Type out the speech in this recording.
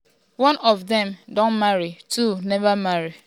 one of dem don marry two neva marry.